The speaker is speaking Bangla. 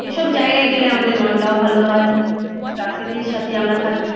এইসব জায়গায় গেলে আমাদের মনটাও ভালো হয়। প্রাকৃতির সাথে আমরা থাকি।